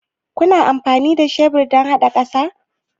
Kunyi amfani da shebur dan hada ƙasa?